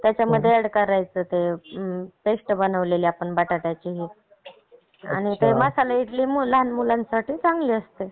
त्याचा मध्ये ऍड करायचा ते पेस्ट बनवलेली आपण बटाट्याची आणि ते मसाला इडली लहान मुलांसाठी चांगली असते.